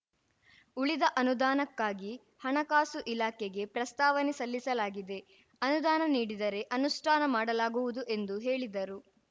ಉಳಿದ ಅನುದಾನಕ್ಕಾಗಿ ಹಣಕಾಸು ಇಲಾಖೆಗೆ ಪ್ರಸ್ತಾವನೆ ಸಲ್ಲಿಸಲಾಗಿದೆ ಅನುದಾನ ನೀಡಿದರೆ ಅನುಷ್ಠಾನ ಮಾಡಲಾಗುವುದು ಎಂದು ಹೇಳಿದರು